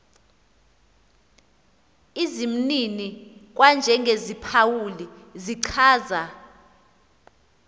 izimnini kwanjengeziphawuli zichaza